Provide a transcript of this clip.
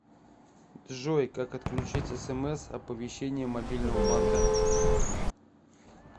джой как отключить смс оповещение мобильного банка